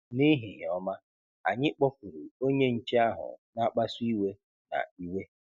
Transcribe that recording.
Nehihie ọma, anyị kpọkuru onye nche ahụ na-akpasu iwe na iwe.